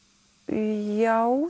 já